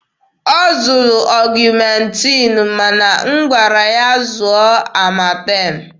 Ọ zụtara ọgụmentin ma na m gwara ya zụọ amatem.